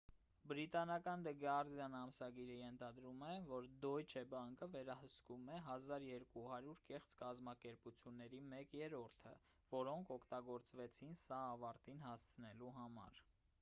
բրիտանական դը գարդիան ամսագիրը ենթադրում է որ դոյչե բանկը վերահսկում էր 1200 կեղծ կազմակերպությունների մեկ երրորդը որոնք օգտագործվեցին սա ավարտին հասցնելու համար